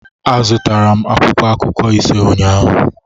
Azụtara m akwụkwọ akụkọ ise ụnyaahụ